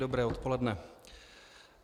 Dobré odpoledne.